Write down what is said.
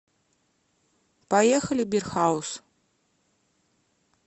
поехали бир хаус